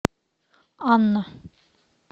анна